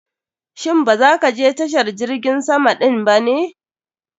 Shin ba za ka je tashar jirgin sama din ba ne?